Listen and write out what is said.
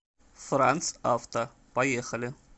франц авто поехали